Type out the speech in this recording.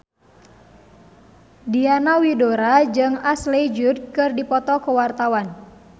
Diana Widoera jeung Ashley Judd keur dipoto ku wartawan